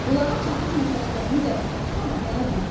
Bulağa çatıb nəfəslərini dərəndən sonra nənə dedi.